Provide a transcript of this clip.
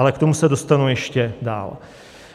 Ale k tomu se dostanu ještě dále.